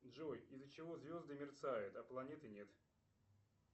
джой из за чего звезды мерцают а планеты нет